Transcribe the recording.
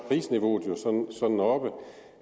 prisniveauet jo sådan oppe